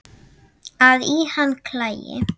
að í hana klæi